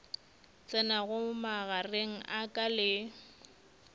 tsenago magareng a ka le